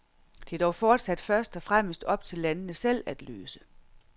Det er dog fortsat først og fremmest op til landene selv at løse.